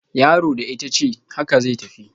Yaro da itace, haka zai tafi